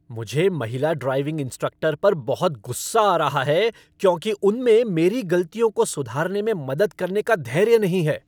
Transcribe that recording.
मुझे महिला driving instructor पर बहुत गुस्सा आ रहा है क्योंकि उनमें मेरी गलतियों को सुधारने में मदद करने का धैर्य नहीं है।